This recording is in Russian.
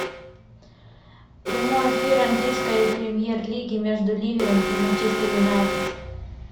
прямой эфир английской премьер лиги между ливером и манчестер юнайтед